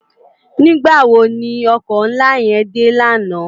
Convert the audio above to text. Nigbá wó no òkò nlá yèn dé làná?